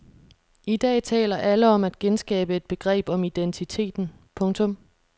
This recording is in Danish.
I dag taler alle om at genskabe et begreb om identiteten. punktum